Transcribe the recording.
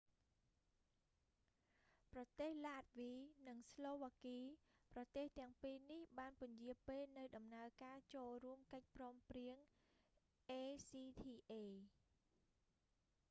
ប្រទេសឡាតវី និងស្លូវ៉ាគី ប្រទេសទាំងពីរនេះបានពន្យារពេលនូវដំណើរការចូលរួមកិច្ចព្រមព្រៀង acta